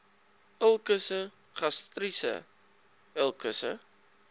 ulkusse gastriese ulkusse